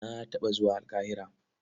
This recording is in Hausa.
Na taɓa zuwa Alƙahira.